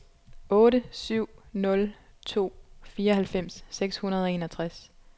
otte syv nul to fireoghalvfems seks hundrede og enogtres